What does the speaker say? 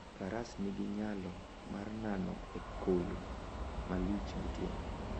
Faras nigi nyalo mar nano e koyo malich gotieno.